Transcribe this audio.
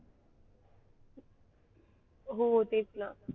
हो तेच ना